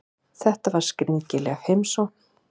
Þetta var skringileg heimsókn.